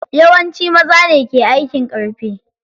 Yawanci maza ne ke aikin ƙarfi.